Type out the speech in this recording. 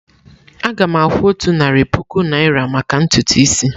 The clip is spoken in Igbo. Aga m akwụ otu narị puku naira maka ntutu isi.